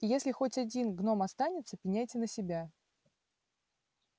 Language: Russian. и если хоть один гном останется пеняйте на себя